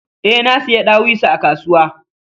E, nasiyi ɗawisu a kasuwa.